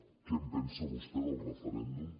què en pensa vostè del referèndum